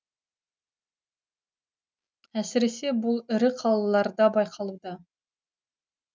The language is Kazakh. әсіресе бұл ірі қалаларда байқалуда